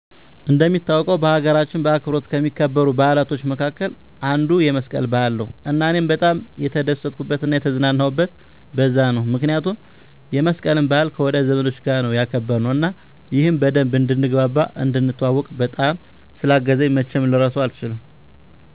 እንደሚታወቀው በሀገራችን በአብሮነት ከሚከበሩ በዓላቶች መካከል አንዱ የመስቀል በዓል ነው እና እኔም በጣም የተደሰትኩበት እና የተዝናናሁበት በዛ ነው ምክንያቱም የመስቀልን በዓል ከወዳጅ ዘመዶቻች ጋር ነው ያከበርነው እና ይህም በደንብ እንድንግባባ፣ እንድንተዋዎቅ፣ በጣም ስላገዘኝ መቼም ልረሳው አልችልም